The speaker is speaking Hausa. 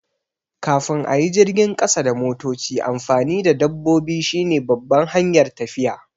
Kafin a yi jirgin ƙasa da motoci, amfani da dabbobi shine babban hanyar tafiya.